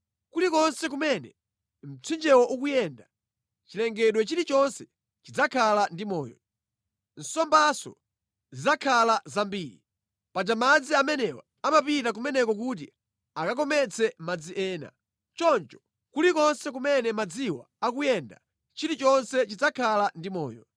Kulikonse kumene mtsinjewo ukuyenda cholengedwa chilichonse chidzakhala ndi moyo. Nsombanso zidzakhala zambiri. Paja madzi amenewa amapita kumeneko kuti akakometse madzi ena. Choncho kulikonse kumene madziwa akuyenda chilichonse chidzakhala ndi moyo.